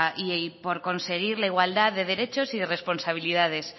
y por conseguir la igualdad de derechos y responsabilidades